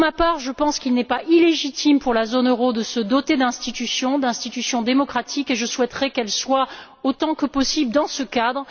Pour ma part, je pense qu'il n'est pas illégitime pour la zone euro de se doter d'institutions, d'institutions démocratiques, et je souhaiterais qu'elles s'inscrivent, autant que possible, dans ce cadre.